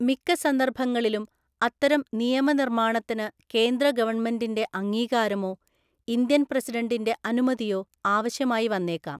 മിക്ക സന്ദർഭങ്ങളിലും അത്തരം നിയമനിർമ്മാണത്തിന് കേന്ദ്രഗവൺമെൻറ്റിൻ്റെ അംഗീകാരമോ ഇന്ത്യൻ പ്രസിഡൻറ്റിൻ്റെ അനുമതിയോ ആവശ്യമായി വന്നേക്കാം.